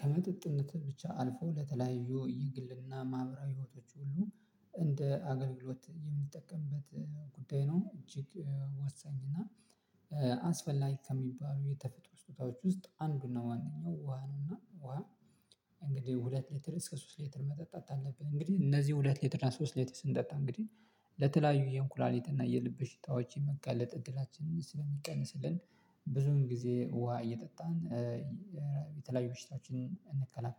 ከመጠጥነት ብቻ አልፎ ለተለያዩ የግልና ማህበራዊ ህይወቶች ሁሉ እንደ አገልግሎት የምንጠቀምበት ጉዳይ ነው። እጅግ ወሳኝ እና አስፈላጊ ከሚባሉ የተፈጥሮ ስጦታዎች ውስጥ አንዱና ዋናው ውሃ ነውና። ውሃ እንግዲህ ሁለት ሊትር እስከ ሶስት ሊትር መጠጣት አለብን እንግዲህ እነዚህ ሁለት ሊትር ሶስት ሊትር ስንጠጣ እንግዲህ ለተለያዩ የኩላሊት እና የልብ ሽታዎች የመጋለጥ እድላችንን ስለሚቀንስልን ብዙን ጊዜ ውሃ እየጠጣን የተለያዩ በሽታዎችን እንከላከል